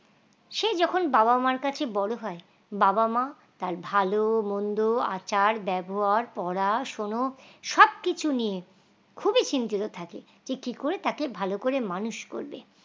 সে যখন বাবা মার কাছে বড় হয় বাবা মা তার ভালো মন্দ আচার ব্যবহার পড়াশোনো সব কিছু নিয়ে খুবই চিন্তিত থাকে যে কি করে তাকে ভালো করে মানুষ করবে।